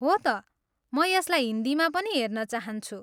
हो त, म यसलाई हिन्दीमा पनि हेर्न चाहन्छु।